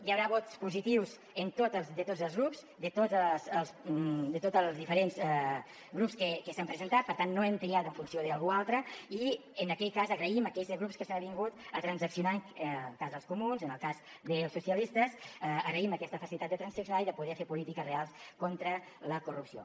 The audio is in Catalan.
hi haurà vots positius de tots els grups de tots els diferents grups que s’han presentat per tant no hem triat en funció d’algú altre i en aquell cas agraïm a aquells grups que s’han avingut a transaccionar en el cas dels comuns en el cas dels socialistes agraïm aquesta facilitat de transaccionar i de poder fer polítiques reals contra la corrupció